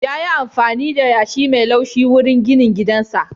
Yayi amfani da yashi mai laushi wurin ginin gidansa.